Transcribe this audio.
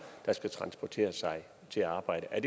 der skal transportere sig til arbejde er